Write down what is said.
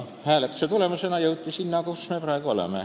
Hääletuse tulemusena jõuti sinna, kus me praegu oleme.